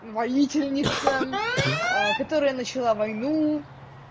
ну воительница которая начала войну